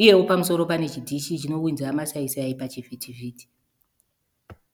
uyewo pamusoro pane chidhishi chinounza masaisai pachivhitivhiti.